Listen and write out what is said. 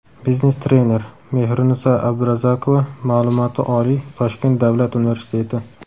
Biznes trener: Mehriniso Abdurazakova Ma’lumoti oliy Toshkent Davlat universiteti.